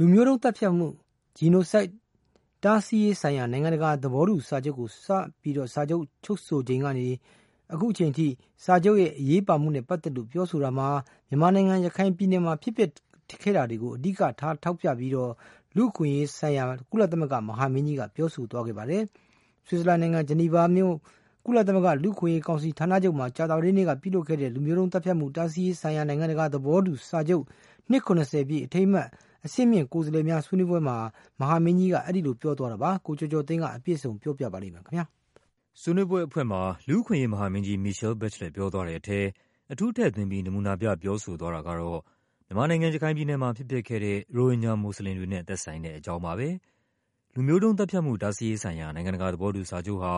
လူမျိုးတုံးသတ်ဖြတ်မှု Genocide တားဆီးရေးဆိုင်ရာ နိုင်ငံတကာ သဘောတူစာချုပ်ကို စပြီးချုပ်ဆိုခဲ့ချိန်ကနေ ဒီကနေ့အချိန်ထိ စာချုပ်ရဲ့ အရေးပါမှုနဲ့ပတ်သက်လို့ ပြောဆိုတာမှာ မြန်မာနိုင်ငံ၊ ရခိုင်ပြည်နယ်မှာ ဖြစ်ပျက်ခဲ့တာတွေကို အဓိက ထောက်ပြပြီး လူ့အခွင့်အရေးဆိုင်ရာ ကုလသမဂ္ဂမဟာမင်းကြီးက ပြောဆိုသွားပါတယ်။ ဆွစ်ဇာလန်နိုင်ငံ၊ ဂျီနီဗာမြို့၊ ကုလသမဂ္ဂ လူ့အခွင့်အရေးကောင်စီ ဌာနချုပ်မှာ ကြာသပတေးနေ့ကလုပ်တဲ့ လူမျိုးတုံးသတ်ဖြတ်မှု တားဆီးရေးဆိုင်ရာ နိုင်ငံတကာ သဘော တူစာချုပ် နှစ် ၇၀ ပြည့်အထိမ်းအမှတ် အဆင့်မြင့်ကိုယ်စားလှယ်များ ဆွေးနွေးပွဲမှာ မဟာမင်းကြီးက အဲဒီလိုပြောသွားတာပါ။ ကိုကျော်ကျော်သိန်းက အပြည့်အစုံ ပြောပြပါမယ်။ ဆွေးနွေးပွဲအဖွင့်မှာ လူ့အခွင့်အရေးမဟာမင်းကြီး Michelle Bachelet ပြောသွားတဲ့ထဲ အထူး ထည့်သွင်းပြီး နမူနာပြပြောဆို သွားတာကတော့ မြန်မာနိုင်ငံ၊ ရခိုင်ပြည်နယ်မှာ ဖြစ်ပျက်ခဲ့တဲ့ ရိုဟင်ဂျာမွတ်ဆလင်တွေနဲ့ သက်ဆိုင်တဲ့အကြောင်းပါပဲ။ လူမျိုးတုံးသတ်ဖြတ်မှု တားဆီးရေးဆိုင်ရာ နိုင်ငံတကာသဘောတူစာချုပ်ဟာ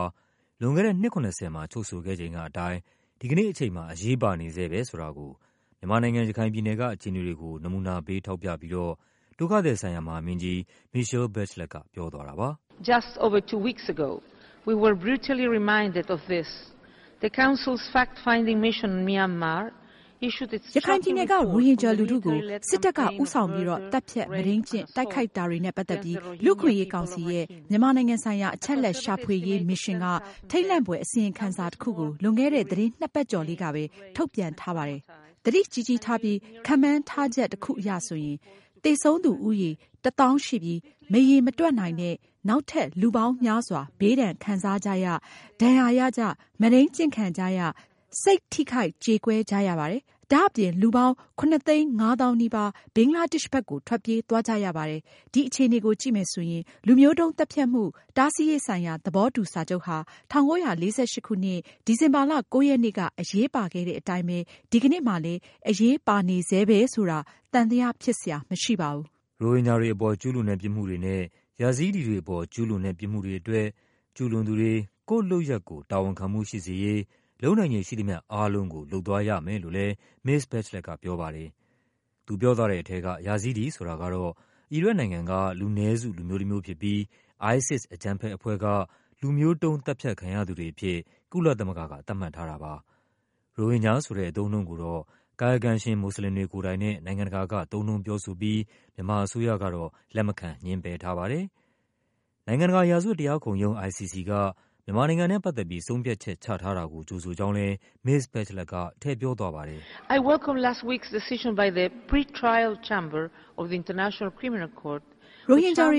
လွန်ခဲ့တဲ့ နှစ် ၇၀ မှာ ချုပ်ဆိုခဲ့ချိန်ကအတိုင်း ဒီကနေ့အချိန်မှာ အရေးပါနေဆဲပဲဆိုတာကို မြန်မာနိုင်ငံ၊ ရခိုင်ပြည်နယ်က အခြေအနေကို နမူနာပေးထောက်ပြပြီးတော့ ဒုက္ခ သည်ဆိုင်ရာ မဟာမင်းကြီး Michelle Bachelet က ပြောသွားပါတယ်။ “ရခိုင်ပြည်နယ်က ရိုဟင်ဂျာလူထုကို စစ်တပ်က ဦးဆောင်ပြီးတော့ သတ်ဖြတ်၊ မုဒိမ်းကျင့်၊ တိုက်ခိုက်တာတွေ နဲ့ပတ်သက်ပြီး လူ့အခွင့်အရေးကောင်စီရဲ့ မြန်မာနိုင်ငံဆိုင်ရာ အချက်အလက်ရှာဖွေရေးမစ်ရှင်က ထိတ်လန့်ဖွယ် အစီရင်ခံစာ တခုကို လွန်ခဲ့တဲ့ သီတင်းနှစ်ပတ်ကျော်လေးကပဲ ထုတ်ပြန်ထားပါတယ်။ သတိကြီးကြီးထားပြီး ခန့်မှန်းထားချက်တခုအရဆိုရင် သေဆုံးသူဦးရေ ၁၀,၀၀၀ ရှိပြီး မရေမတွက်နိုင်တဲ့ နောက်ထပ်လူပေါင်းများစွာ ဘေးဒဏ်ခံစားကြရ၊ ဒဏ်ရာရကြ၊ မုဒိန်းကျင့်ခံကြ ရ၊ စိတ်ထိခိုက် ကျေကွဲကြရပါတယ်။ ဒါ့အပြင် လူပေါင်း ၇၅၀,၀၀၀ နီးပါး ဘင်္ဂလားဒေ့ရှ်ကို ထွက်ပြေးသွားကြရပါတယ်။ ဒီအခြေ အနေကို ကြည့်မယ်ဆိုရင် လူမျိုးတုံးသတ်ဖြတ်မှု တားဆီးရေးဆိုင်ရာ သဘောတူစာချုပ်ဟာ ၁၉၄၈ ခုနှစ်၊ ဒီဇင်ဘာလ ၉ ရက်နေ့ က အရေးပါခဲ့တဲ့အတိုင်းပဲ ဒီကနေ့မှာလည်း အရေးပါနေဆဲပဲဆိုတာ သံသယဖြစ်စရာမရှိပါဘူး။” ရိုဟင်ဂျာတွေအပေါ် ကျူးလွန်တဲ့ ပြစ်မှုတွေနဲ့ ယာဇီးဒီးတွေအပေါ် ကျူးလွန်တဲ့ပြစ်မှုတွေအတွက် ကျူးလွန်သူတွေ ကိုယ့်လုပ်ရပ် ကိုယ် တာဝန်ခံမှုရှိစေရေး လုပ်နိုင်ခြေရှိသမျှ အားလုံးကို လုပ်သွားရမယ်လို့လည်း မစ္စ Bachelet က ပြောပါတယ်။ သူပြောသွားတဲ့ထဲက ယာဇီးဒီဆိုတာကတော့ အီရတ်နိုင်ငံက လူနည်းစု လူမျိုးတမျိုးဖြစ်ပြီး ISIS အကြမ်းဖက်အဖွဲ့က လူမျိုးတုံး သတ်ဖြတ်ခံရသူတွေအဖြစ် ကုလသမဂ္ဂက သတ်မှတ်ထားတာပါ။ ရိုဟင်ဂျာဆိုတဲ့ အသုံးအနှုန်းကို ကာယကံရှင် မွတ်ဆလင်တွေ ကိုယ်တိုင်နဲ့ နိုင်ငံတကာက သုံးနှုန်းပြောဆိုပြီး မြန်မာအစိုးရကတော့ လက်မခံ ငြင်းပယ်ထားပါတယ်။ နိုင်ငံတကာ ရာဇဝတ်တရားခုံရုံး ICC က မြန်မာနိုင်ငံနဲ့ပတ်သက်ပြီး ဆုံးဖြတ်ချက်ချထားတာကို ကြိုဆိုကြောင်းလည်း မစ္စ Bachelet က ထည့်ပြောသွားပါတယ်။ “ရိုဟင်ဂျာတွ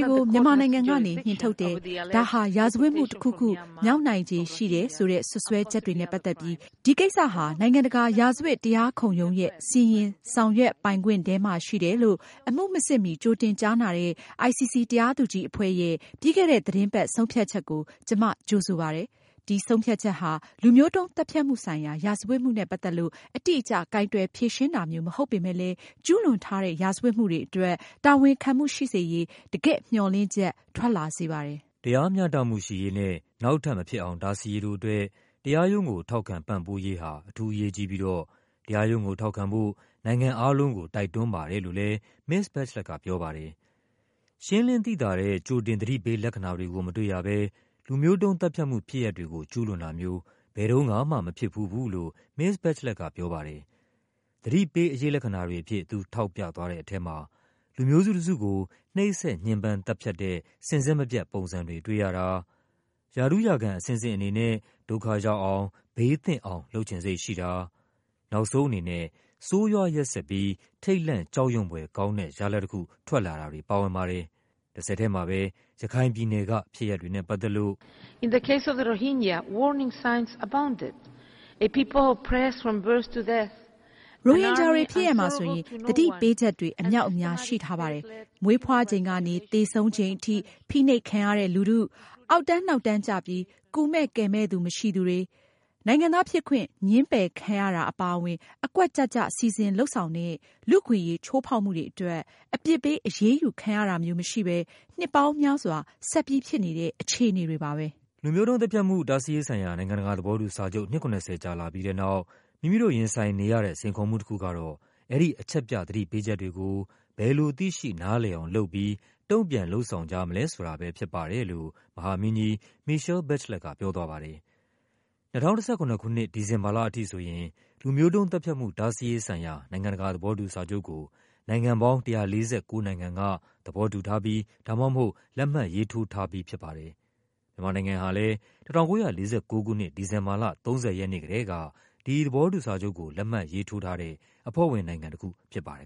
ေကို မြန်မာနိုင်ငံကနေ နှင်ထုတ်တယ်၊ ဒါဟာ ရာဇဝတ်မှုတခုခု မြောက်နိုင်ခြေရှိတယ်ဆိုတဲ့ စွပ်စွဲ ချက်တွေနဲ့ပတ်သက်ပြီး ဒီကိစ္စဟာ နိုင်ငံတကာ ရာဇဝတ်တရားခုံရုံးရဲ့ စီရင် ဆောင်ရွက်ပိုင်ခွင့်ထဲမှာရှိတယ်လို့ အမှုမစစ်မီ ကြိုတင်ကြားနာတဲ့ ICC တရားသူကြီးအဖွဲ့ရဲ့ ပြီးခဲ့တဲ့သီတင်းပတ် ဆုံးဖြတ်ချက်ကို ကျမ ကြိုဆိုပါတယ်။ ဒီဆုံးဖြတ်ချက်ဟာ လူမျိုးတုံးသတ်ဖြတ်မှုဆိုင်ရာ ရာဇဝတ်မှုနဲ့ပတ်သက်လို့ အတိအကျ ကိုင်တွယ်ဖြေရှင်းတာမျိုး မဟုတ်ပေမဲ့လည်း ကျူးလွန်ထားတဲ့ ရာဇဝတ်မှုတွေအတွက် တာဝန်ခံမှုရှိစေရေး တကယ့်မျှော်လင့်ချက် ထွက်လာစေပါတယ်။” တရားမျှတမှုရှိရေးနဲ့ နောက်ထပ်မဖြစ်အောင် တားဆီးရေးတို့အတွက် တရားရုံးကို ထောက်ခံပံ့ပိုးရေးဟာ အထူးအရေးကြီးပြီး တော့ တရားရုံးကိုထောက်ခံဖို့ နိုင်ငံအားလုံးကို တိုက်တွန်းပါတယ်လို့လည်း မစ္စ Bachelet ကပြောသွားပါတယ်။ ရှင်းလင်းသိသာတဲ့ ကြိုတင်သတိပေးလက္ခဏာတွေကို မတွေ့ရဘဲ လူမျိုးတုံးသတ်ဖြတ်မှု ဖြစ်ရပ်တွေကို ကျူးလွန်တာမျိုး ဘယ်တုန်းကမှ မဖြစ်ဖူးဘူးလို့ မစ္စ Bachelet ကပြောပါတယ်။ သတိပေး အရိပ်လက္ခဏာတွေအဖြစ် သူ ထောက်ပြသွားတဲ့ထဲမှာ လူမျိုးစုတစုကို နှိပ်စက် ညှဉ်းပန်း သတ်ဖြတ်တဲ့ စဉ်ဆက်မပြတ်ပုံစံတွေ တွေ့ရတာ၊ ရာထူးရာခံအဆင့်ဆင့်အနေနဲ့ ဒုက္ခရောက် အောင် ဘေးသင့်အောင် လုပ်ချင်စိတ်ရှိတာ၊ နောက်ဆုံးအနေနဲ့ ဆိုးရွားရက်စက်ပြီး ထိတ်လန့်ကြောက်ရွံ့ဖွယ်ကောင်းတဲ့ ရလဒ်တခု ထွက်လာတာတွေ ပါဝင်ပါတယ်။ တဆက်ထဲမှာပဲ ရခိုင်ပြည်နယ်က ဖြစ်ရပ်တွေနဲ့ပတ်သက်လို့ “ရိုဟင်ဂျာတွေဖြစ်ရပ်မှာဆိုရင် သတိပေးချက်တွေ အမြောက်အများရှိထားပါတယ်။ မွေးဖွားချိန်ကနေ သေဆုံး ချိန်ထိ ဖိနှိပ်ခံရတဲ့လူထု၊ အောက်တန်းနောက်တန်းကျပြီး ကူမယ့်ကယ်မယ့်သူမရှိသူတွေ၊ နိုင်ငံသားဖြစ်ခွင့် ငြင်းပယ်ခံရတာ အပါ အဝင် အကွက်ကျကျ စီစဉ်လုပ်ဆောင်တဲ့ လူ့အခွင့်အရေး ချိုးဖောက်မှုတွေအတွက် အပြစ်ပေး အရေးယူခံရတာမျိုးမရှိဘဲ နှစ်ပေါင်းများစွာ ဆက်ဖြစ်နေတဲ့ အခြေအနေတွေပါပဲ။” လူမျိုးတုံးသတ်ဖြတ်မှု တားဆီးရေးဆိုင်ရာ နိုင်ငံတကာသဘောတူစာချုပ် နှစ် ၇၀ ကြာလာပြီးတဲ့နောက် မိမိတို့ရင်ဆိုင်နေရတဲ့ စိန်ခေါ်မှုတခုကတော့ အဲဒီ အချက်ပြ သတိပေးချက်တွေကို ဘယ်လို သိရှိနားလည်အောင်လုပ်ပြီး တုန့်ပြန်လုပ်ဆောင်ကြမလဲ ဆိုတာပဲဖြစ်ပါတယ်လို့ မဟာမင်းကြီး Michelle Bachelet က ပြောသွားပါတယ်။ ၂၀၁၇ ခုနှစ်အထိ ဒီဇင်ဘာလအထိဆိုရင် လူမျိုးတုံးသတ်ဖြတ်မှု တားဆီးရေးဆိုင်ရာ နိုင်ငံတကာသဘောတူစာချုပ်ကို နိုင်ငံပေါင်း ၁၄၉ နိုင်ငံက သဘောတူထား ဒါမှမဟုတ် လက်မှတ်ရေးထိုးထားပါတယ်။ မြန်မာနိုင်ငံဟာလည်း ၁၉၄၉ ခုနှစ်၊ ဒီဇင်ဘာလ ၃၀ ရက်နေ့ကတည်းက ဒီသဘောတူစာချုပ်ကို လက်မှတ်ရေးထိုးထားတဲ့ အဖွဲ့ဝင်နိုင်ငံတခုဖြစ်ပါတယ်